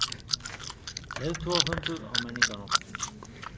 Leiðtogafundur á Menningarnótt